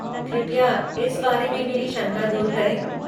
कृपया इस बारे में मेरी शंका दूर करें।